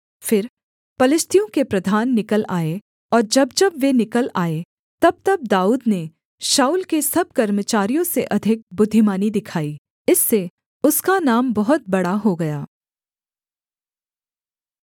फिर पलिश्तियों के प्रधान निकल आए और जब जब वे निकल आए तबतब दाऊद ने शाऊल के सब कर्मचारियों से अधिक बुद्धिमानी दिखाई इससे उसका नाम बहुत बड़ा हो गया